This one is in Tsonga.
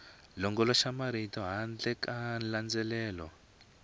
longoloxela marito handle ka nandzelelano